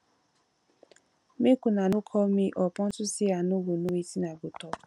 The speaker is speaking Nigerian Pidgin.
make una no call me up unto say i no go know wetin i go talk